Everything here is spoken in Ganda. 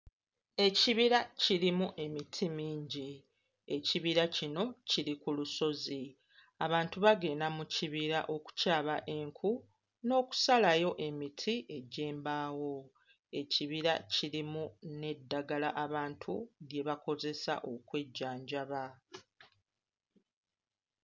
Ekibira kirimu emiti mingi. Ekibira kino kiri ku lusozi. Abantu bagenda mu kibira okukyaba enku n'okusalayo emiti egy'embaawo. Ekibira kirimu n'eddagala abantu lye bakozesa okwejjanjaba.